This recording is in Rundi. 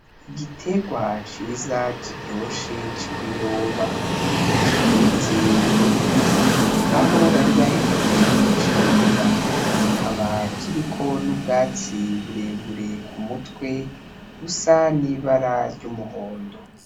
Igiterwa ciza kiryoshe c'ibiyoba, kiteretse mwivu aho bari bahejeje kucimbura. Kikaba kiriko n'ubwatsi burebure kumutwe rusa n'ibara ry'umuhondo.